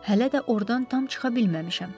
Hələ də ordan tam çıxa bilməmişəm.